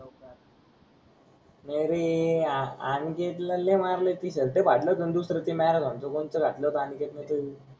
नाही रे अह अनिकेत ला लय मारल T. shirt फाटलं होत न दुसर ते Marathon च ते कोणत घातल होत अनिकेत न ते.